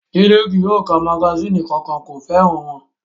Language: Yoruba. Jídé kí yóò ka magasínì kankan, kò fẹ́ràn wọn